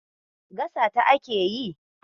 Gasata ake yi.